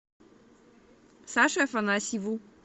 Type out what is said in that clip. саше афанасьеву